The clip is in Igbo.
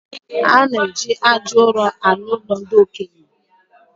Ọ na-eji arụ ụlo ndi okenye